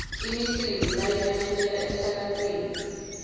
imicimbi bayimemetela emsakatweni